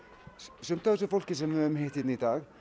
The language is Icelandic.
sumt af þessu fólki sem við höfum hitt hérna í dag